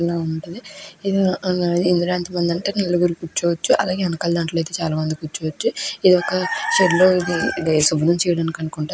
ఏంటంటే ముందు నలుగురు కుచ్చోవచ్చు. వెనకాల అయితే చాలా మంది కూర్చోవచ్చు. ఇది ఒక షెడ్ లో శుభ్రం చేయడం అనుకుంట --